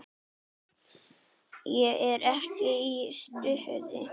Ég er ekki í stuði.